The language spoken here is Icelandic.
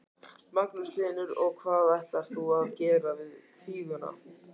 Magnús Hlynur: Og hvað ætlar þú að gera við kvíguna?